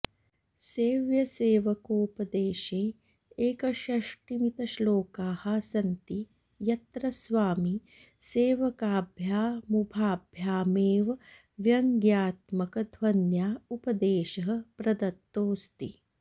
सेव्यसेवकोपदेशे एकषष्टिमितश्लोकाः सन्ति यत्र स्वामिसेवकाभ्यामुभाभ्यामेव व्यङ्ग्यात्मकध्वन्या उपदेशः प्रदत्तोऽस्ति